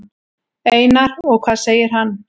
Einar: Og hvað segir hann?